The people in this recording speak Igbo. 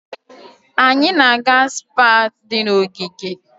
Anyị na-aga Spá di na ogige.